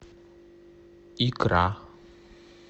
икра